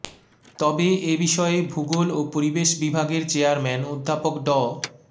তবে এ বিষয়ে ভূগোল ও পরিবেশ বিভাগের চেয়ারম্যান অধ্যাপক ড